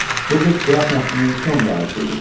Bu qız qraf nəslinin son varisi idi.